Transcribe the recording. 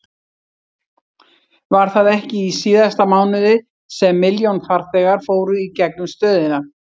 Var það ekki í síðasta mánuði sem milljón farþegar fóru í gegnum stöðina?